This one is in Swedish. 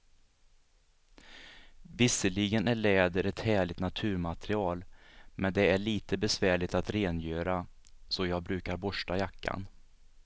Visserligen är läder ett härligt naturmaterial, men det är lite besvärligt att rengöra, så jag brukar borsta jackan.